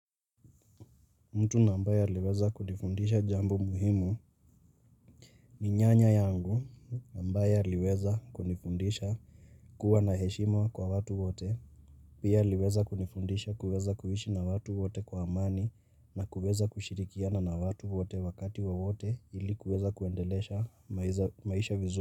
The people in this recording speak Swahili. Mtu na ambaye aliweza kunifundisha jambo muhimu ni nyanya yangu ambaye aliweza kunifundisha kuwa na heshima kwa watu wote Pia aliweza kunifundisha kuweza kuhishi na watu wote kwa amani na kuweza kushirikiana na watu wote wakati wowote ili kuweza kuendelesha maisha vizuri.